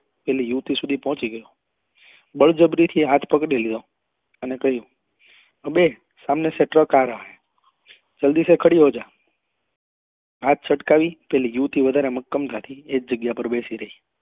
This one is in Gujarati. પેલી યુવતી સુધી પહોચી ગયો બળજબરી થી હાથ પકડી લીધા અને કહ્યું કે દેખ સામને સે ટ્રક આ રહ હૈ જલ્દી સે ખડી હો જા હાથ છટકાવી પેલી યુવતી વધારે મક્કમતા થી એ જ જગ્યા પર બેસી રહી